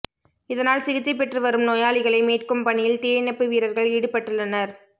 இதனால் சிகிச்சை பெற்றுவரும் நோயாளிகளை மீட்கும் பணியில் தீயணைப்பு வீரர்கள் ஈடுபட்டுள்ளனர்